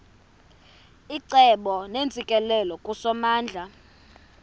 icebo neentsikelelo kusomandla